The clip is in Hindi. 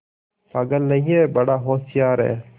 पागल नहीं हैं बड़ा होशियार है